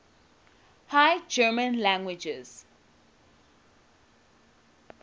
high german languages